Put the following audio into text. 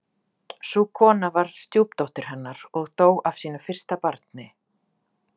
Sú kona var stjúpdóttir hennar og dó af sínu fyrsta barni.